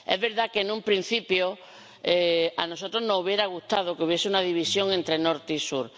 Es verdad que, en un principio, a nosotros nos hubiera gustado que hubiese una división entre norte y sur.